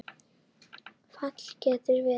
Fall getur verið